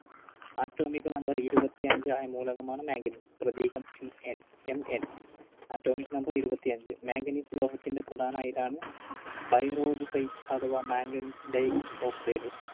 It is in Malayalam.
Atomic Number ഇരുപത്തിയഞ്ച് ആയ മൂലകമാണ് manganese പ്രതീകം Mn. Atomic Number ഇരുപത്തിയഞ്ച്. Manganese ലോഹത്തിൻറെ പ്രധാന അയിരാണ് Pyrolusite അഥവാ Manganese dioxide.